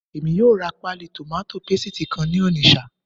Èmi yóò ra páálí tòmátò pésìtì kan ní Onitsha